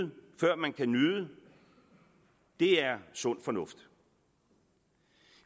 før man kan nyde det er sund fornuft